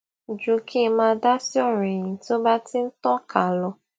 ju kí ń máa dá sí ọrọ ẹyìn tí ó bá ti ń tànká lọ